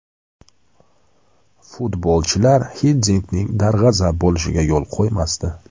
Futbolchilar Xiddinkning darg‘azab bo‘lishiga yo‘l qo‘ymasdi.